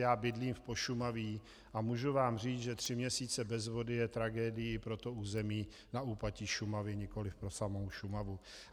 Já bydlím v Pošumaví a můžu vám říct, že tři měsíce bez vody je tragédií pro to území na úpatí Šumavy, nikoli pro samou Šumavu.